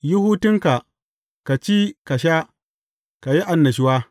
Yi hutunka, ka ci, ka sha, ka yi annashuwa.